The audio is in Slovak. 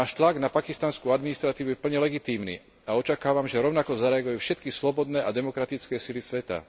Náš tlak na pakistanskú administratívu je plne legitímny a očakávam, že rovnako zareagujú aj všetky slobodné a demokratické sily sveta.